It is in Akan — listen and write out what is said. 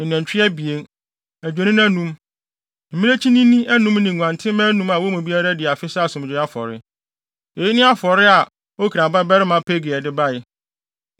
ne anantwi abien, adwennini anum, mmirekyinini anum ne nguantenmma anum a wɔn mu biara adi afe sɛ asomdwoe afɔre. Eyi ne afɔre a Okran babarima Pagiel de bae.